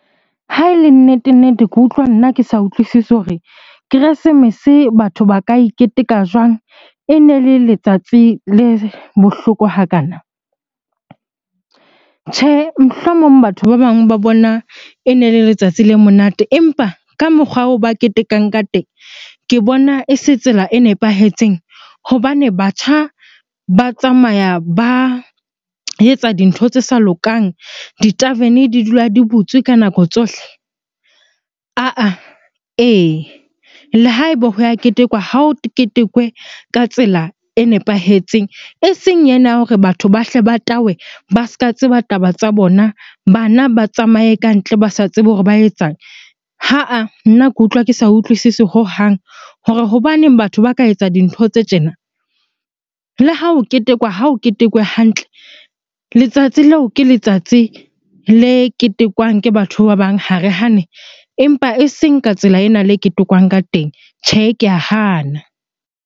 Ha e le nnete-nnete, ke utlwa nna ke sa utlwisisi hore keresemese batho ba ka e keteka jwang ene le letsatsi le bohloko hakana? Tjhe, mohlomong batho ba bang ba bona ene le letsatsi le monate empa ka mokgwa oo ba ketekang ka teng, ke bona e se tsela e nepahetseng hobane batjha ba tsamaya ba etsa dintho tse sa lokang di-tarven-e di dula di butswe ka nako tsohle. Ah-ah, ee, le ha eba ho ya ketekwa ha o ketekwe ka tsela e nepahetseng eseng ena ya hore batho ba hle ba tawe ba se ka tseba taba tsa bona, bana ba tsamaye kantle ba sa tsebe hore ba etsang. Ha-ah, nna ke utlwa ke sa utlwisise hohang hore hobaneng batho ba ka etsa dintho tse tjena. Le ha ho ketekwa, ha ho ketekwe hantle. Letsatsi leo ke letsatsi le ketekwang ke batho ba bang ha re hane, empa eseng ka tsela ena le ketekwang ka teng. Tjhe, ke a hana.